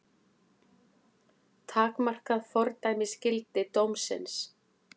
Takmarkað fordæmisgildi dómsins